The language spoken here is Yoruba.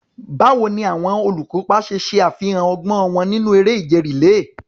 Báwo ni àwọn olùkópa ṣe ṣe àfihàn ọgbọ́n wọn nínú eré ìje rìléè?